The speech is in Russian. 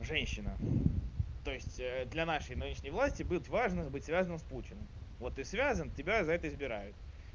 женщина то есть для нашей нынешней власти быть важно быть связанным с путиным вот ты связан тебя за это избирают